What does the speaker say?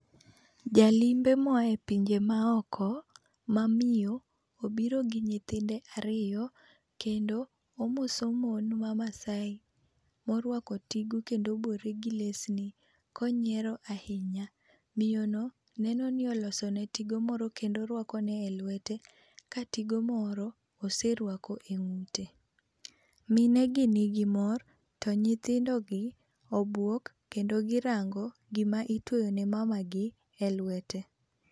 Jalimbe moa e pinje ma oko ma miyo obiro gi nyithinde ariyo kendo omoso mon ma Maasai morwako tigo kendo obore gi lesni konyiero ahinya. Miyo no neno ni olosone tigo moro kendo orwakone e lwete ka tigo moro oserwako e ng'ute. Minegi nigi mor to nyithindogi obwok kendo girango gima itweyo ne mamagi e lwete.